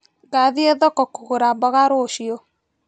Ngathie thoko kũgũra mboga rũciũ.